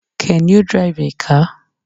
Can you drive a car?